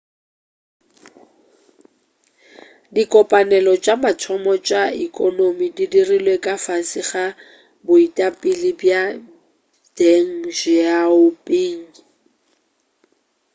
dikopanelo tša mathomo tša ekonomi di dirilwe ka fase ga boetapele bja deng xiaoping